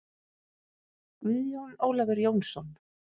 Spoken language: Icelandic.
Guðjón Ólafur Jónsson